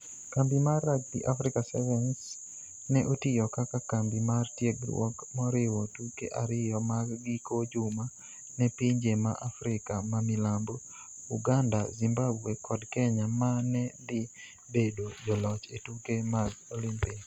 Kambi mar Rugby Africa Sevens ne otiyo kaka kambi mar tiegruok moriwo tuke ariyo mag giko juma ne pinje ma Africa mamilambo, Uganda, Zimbabwe kod Kenya ma ne dhi bedo joloch e tuke mag Olimpik